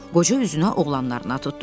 Qoca üzünü oğlanlarına tutdu.